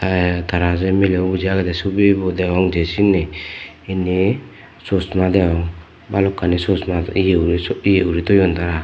tey tara je milebo buji agede subibo degong je sinni inni sushma degong balokkani sushma ye guri so ye guritoyon tara.